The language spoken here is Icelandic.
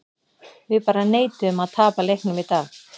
Við bara neituðum að tapa leiknum í dag.